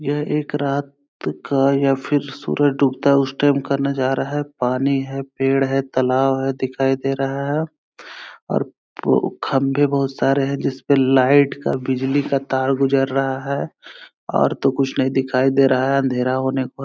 यह एक रात का या फिर सूरज डूबता उस टाइम का नजारा है पानी है पेड़ है तलाब है दिखाई दे रहा है और खम्बे बोहोत सारे है जिस पे लाइट का बिजली का तार गुजर रहा है और तो कुछ नहीं दिखाई दे रहा है अँधेरा होने को है।